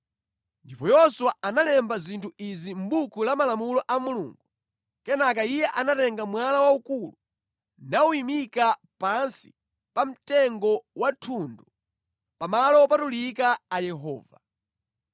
Ndipo Yoswa analemba zinthu izi mʼbuku la malamulo a Mulungu. Kenaka iye anatenga mwala waukulu nawuyimika pansi pa mtengo wa thundu pa malo wopatulika a Yehova.